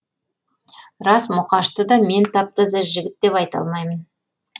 рас мұқашты да мен тап таза жігіт деп айта алмаймын